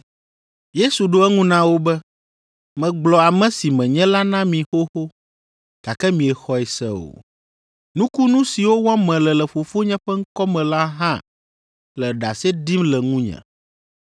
Yesu ɖo eŋu na wo be, “Megblɔ ame si menye la na mi xoxo, gake miexɔe se o. Nukunu siwo wɔm mele le Fofonye ƒe ŋkɔ me la hã le ɖase ɖim le ŋunye,